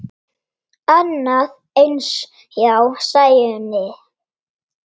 Annað eins hjá Sæunni.